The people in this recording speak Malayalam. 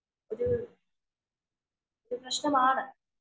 ഒരു ഒരു പ്രശ്നമാണ്..